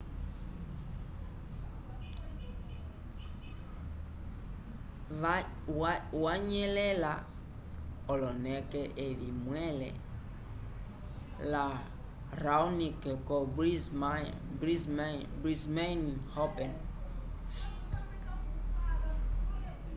wanyelela oloneke evi mwele la raonic co brismane open